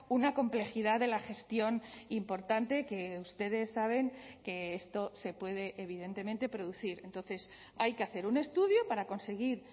una complejidad de la gestión importante que ustedes saben que esto se puede evidentemente producir entonces hay que hacer un estudio para conseguir